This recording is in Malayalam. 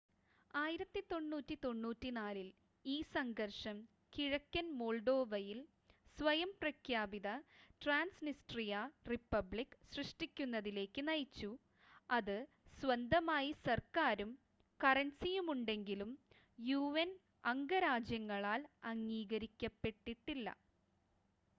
1994 ൽ ഈ സംഘർഷം കിഴക്കൻ മോൾഡോവയിൽ സ്വയം പ്രഖ്യാപിത ട്രാൻസ്‌നിസ്ട്രിയ റിപ്പബ്ലിക്ക് സൃഷ്ടിക്കുന്നതിലേക്ക് നയിച്ചു അത് സ്വന്തമായി സർക്കാരും കറൻസിയുമുണ്ടെങ്കിലും യുഎൻ അംഗരാജ്യങ്ങളാൽ അംഗീകരിക്കപ്പെട്ടിട്ടില്ല